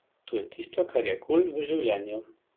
Lahko se le podpišem pod vaše vprašanje.